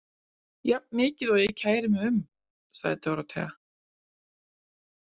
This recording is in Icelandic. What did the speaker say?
Jafn mikið og ég kæri mig um, sagði Dórótea.